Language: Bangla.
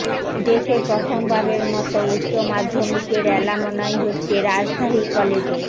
দেশে প্রথমবারের মতো উচ্চ মাধ্যমিকের অ্যালামনাই হচ্ছে রাজশাহী কলেজে